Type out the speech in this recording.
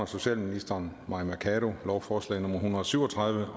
socialministeren lovforslag nummer l en hundrede og syv og tredive